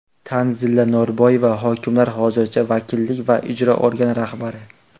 Tanzila Norboyeva: Hokimlar hozircha vakillik va ijro organi rahbari.